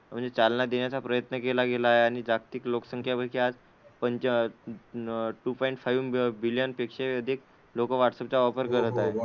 म्हणजे चालना देण्याचा प्रयत्न केला गेला आहे. आणि जागतिक लोकसंख्येपैकी आज पंच टू पॉईंट फाईव्ह बिलियन पेक्षा अधिक लोकं व्हाट्सअप चा वापर करत आहेत.